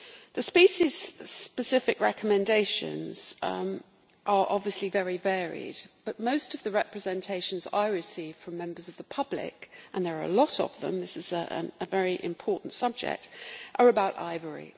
The species specific recommendations are obviously very varied, but most of the representations I receive from members of the public and there are a lot of them as this is a very important subject are about ivory.